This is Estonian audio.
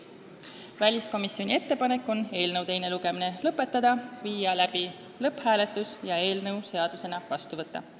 Väliskomisjoni ettepanek on eelnõu teine lugemine lõpetada, viia läbi lõpphääletus ja eelnõu seadusena vastu võtta.